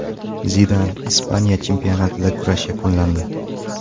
Zidan: Ispaniya chempionatida kurash yakunlandi.